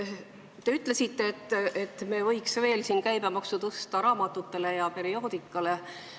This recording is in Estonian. Te ütlesite, et me võiks tõsta raamatute ja perioodika käibemaksu.